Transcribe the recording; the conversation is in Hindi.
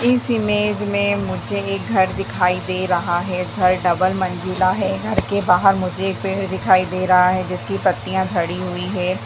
इस इमेज मे मुझे एक घर दिखाई दे रहा है घर डबल मंज़िला है घर के बहार मुझे एक पेड़ दिखाई दे रहा है जिसकी पत्तिया झड़ी हुई हैं ।